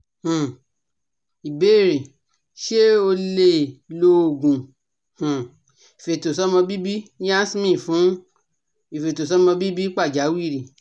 um Ìbéèrè Se o le lo oogun um ifetosomobibi Yasmin fun ifetosomobibi pajawiri